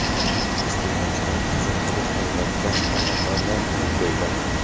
Iste’molchilar qachon elektr va gaz tarmoqlaridan uzib qo‘yiladi?.